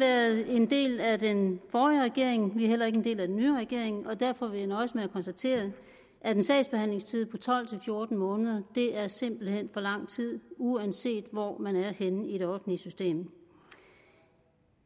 været en del af den forrige regering vi er heller ikke en del af den nye regering og derfor vil jeg nøjes med at konstatere at en sagsbehandlingstid på tolv til fjorten måneder simpelt hen for lang tid uanset hvor man er henne i det offentlige system